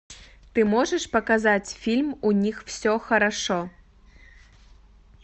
ты можешь показать фильм у них все хорошо